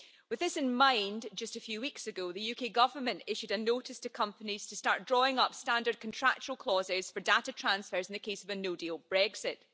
With this in mind, just a few weeks ago, the UK Government issued a notice to companies to start drawing up standard contractual clauses for data transfers in the case of a no-deal Brexit.